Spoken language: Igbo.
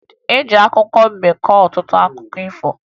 E ji akụkọ mbe kọọ ọtụtụ akụkọ ifo